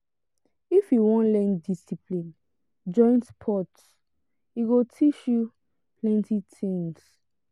if you wan learn discipline join sports e go teach you plenty tins.